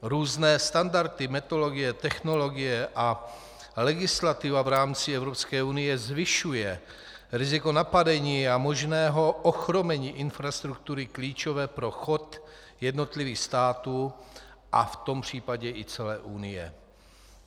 Různé standardy, metodologie, technologie a legislativa v rámci Evropské unie zvyšují riziko napadení a možného ochromení infrastruktury klíčové pro chod jednotlivých států a v tom případě i celé Unie.